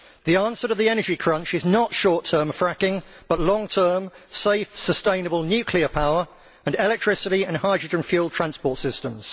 The answer to the energy crunch is not short term fracking but long term, safe, sustainable nuclear power and electricity and hydrogen fuelled transport systems.